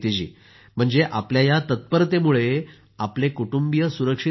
म्हणजे आपल्या या तत्परतेमुळे आपले कुटुंबीय सुरक्षित राहिले